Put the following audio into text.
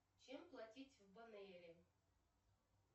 чем платить в банейре